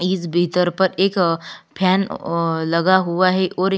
इस बीकर पर एक फैन लगा हुआ है और ए--